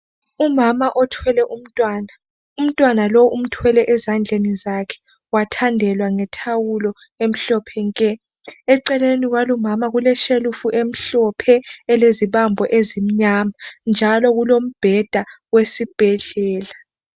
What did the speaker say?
Umama othwele umntwana. Umntwana lo umthwele ezandlani zakhe wathandelwa ngethawulo emhlophe nke .Eceleni kwalumama kuleshelufu emhlophe elezibambo ezimnyama njalo kulombheda wesibhedlela.